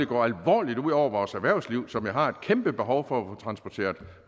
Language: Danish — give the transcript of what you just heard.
gå alvorligt ud over vores erhvervsliv som har et kæmpe behov for at transporteret